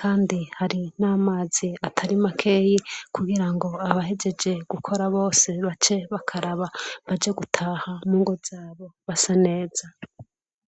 kandi hari namazi atari makeya kugirango abahejeje gukora bose bace bakaraba baje gutaha mungo zabo basaneza